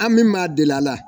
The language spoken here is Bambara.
An min ma deli a la